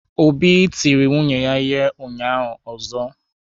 Obi tiri nwunye ya ụnyahụ ọzọ.